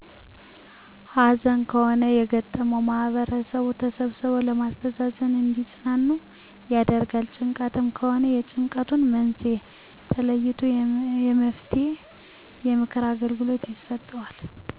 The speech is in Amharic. ሀዘን ከሆነ የገጠመዉ ማህበረሰቡ ተሰብስቦ በማስተዛዘን እንዲፅናኑ ይደረጋል። ጭንቀትም ከሆነ የጭንቀቱን መንሴኤ ተለይቶ የመፈትሄ የምክር አገልግሎት ይሰጠዋል